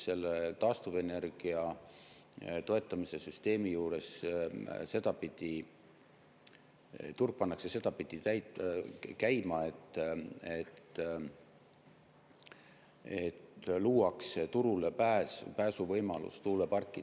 Taastuvenergia toetamise süsteemi juures pannakse turg sedapidi käima, et luuakse turulepääsu võimalus tuuleparkidele.